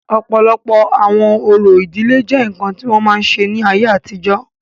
ọ̀pọ̀lọpọ̀ àwọn orò ìdílé jẹ́ ǹkan tí wọ́n máa ń ṣe ní ayé àtijọ́